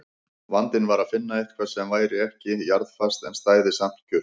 Vandinn var að finna eitthvað sem væri ekki jarðfast en stæði samt kjurt.